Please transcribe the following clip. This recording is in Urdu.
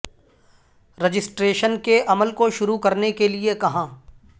رجسٹریشن کے عمل کو شروع کرنے کے لئے کہاں